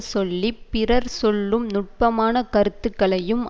சொல்லி பிறர் சொல்லும் நுட்பமான கருத்துக்களையும்